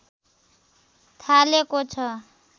थालेको छ